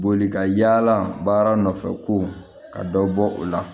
Boli ka yaala baara nɔfɛ ko ka dɔ bɔ o la